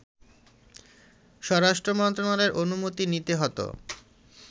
স্বরাষ্ট্রমন্ত্রণালয়ের অনুমতি নিতে হত